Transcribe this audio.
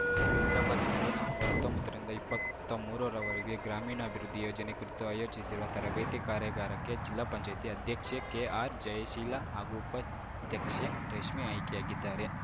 ಹೈದ್ರಾಬಾದಿನಲ್ಲಿ ನವೆಂಬರ್ಹತ್ತೊಂಬತ್ತರಿಂದ ಇಪ್ಪತ್ಮೂರ ರವರೆಗೆ ಗ್ರಾಮೀಣಾಭಿವೃದ್ಧಿ ಯೋಜನೆ ಕುರಿತು ಆಯೋಜಿಸಿರುವ ತರಬೇತಿ ಕಾರ್ಯಾಗಾರಕ್ಕೆ ಜಿಲ್ಲಾ ಪಂಚಾಯಿತಿ ಅಧ್ಯಕ್ಷೆ ಕೆಆರ್‌ ಜಯಶೀಲ ಹಾಗೂ ಉಪಾಧ್ಯಕ್ಷೆ ರಶ್ಮಿ ಆಯ್ಕೆಯಾಗಿದ್ದಾರೆ